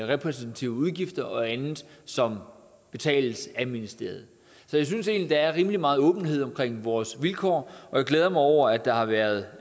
repræsentative udgifter og andet som betales af ministeriet så jeg synes egentlig at der er rimelig meget åbenhed omkring vores vilkår og jeg glæder mig over at der har været